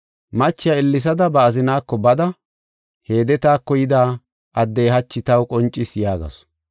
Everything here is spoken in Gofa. Machiya ellesada ba azinaako bada, “Heede taako yida addey hachi taw qoncis” yaagasu.